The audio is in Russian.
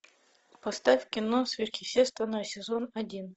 поставь кино сверхъестественное сезон один